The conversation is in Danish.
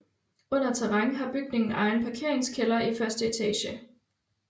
Under terræn har bygningen egen parkeringskælder i 1 etage